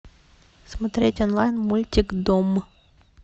смотреть онлайн мультик дом